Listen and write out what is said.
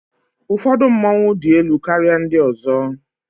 Ụfọdụ mmọnwu dị elu karịa ndị ọzọ